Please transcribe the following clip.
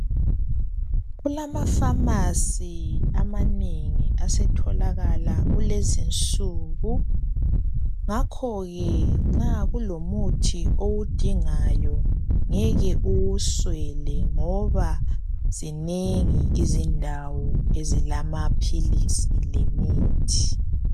Kulamafamasi amanengi asetholakala kulezinsuku ngakho ke nxa kulomuthi owudingayo ngeke uwuswele ngoba zinengi izindawo ezilamaphilisi lemithi.